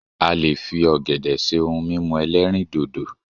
a lè fi ògèdè ṣe òun mímu elerindodo